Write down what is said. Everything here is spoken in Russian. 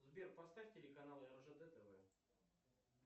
сбер поставь телеканал ржд тв